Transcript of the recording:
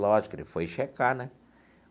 Lógico, ele foi checar, né?